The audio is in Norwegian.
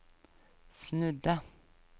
snudde